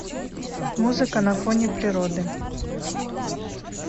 музыка на фоне природы